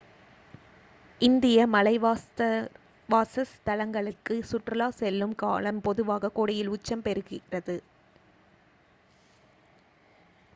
இந்திய மலைவாசஸ்தலங்களுக்கு சுற்றுலா செல்லும் காலம் பொதுவாக கோடையில் உச்சம் பெறுகிறது